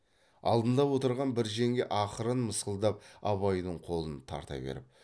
алдында отырған бір жеңге ақырын мысқылдап абайдың қолын тарта беріп